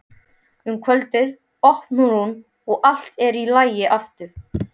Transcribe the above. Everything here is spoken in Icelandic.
Um kvöldið opnar hún og allt er í lagi aftur.